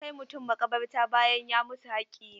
Kai mutum maƙabarta bayan ya mutu haƙƙi ne.